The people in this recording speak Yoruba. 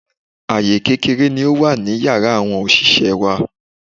Àyè kékeré ni ó wà ní Yàrá àwọn òṣìṣẹ́ẹ wá.